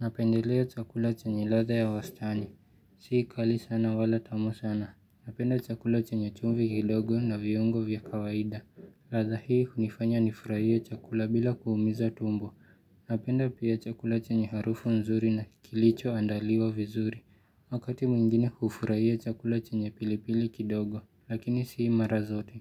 Napendelea chakula chanye latha ya wastani. Sii kali sana wala tamu sana. Napenda chakula chanyo chumvi kidogo na viungo vya kawaida. Latha hii unifanya nifurahia chakula bila kuumiza tumbo. Napenda pia chakula chanye harufu nzuri na kilicho andaliwa vizuri. Wakati mwingine kufurahia chakula chanye pilipili kidogo lakinisii mara zote.